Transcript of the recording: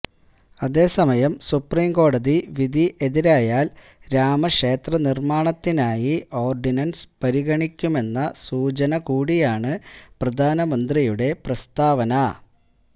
അതേസമയം സുപ്രീം കോടതി വിധി എതിരായാല് രാമക്ഷേത്ര നിര്മാണത്തിനായി ഓര്ഡിനന്സ് പരിഗണിക്കുമെന്ന സൂചന കൂടിയാണ് പ്രധാനമന്ത്രിയുടെ പ്രസ്താവന